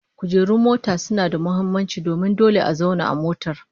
Kujerun mota suna da muhimmanci domin dole a zauna a motar